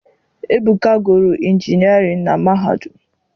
Ebuka gụrụ injinịarịn na mahadum.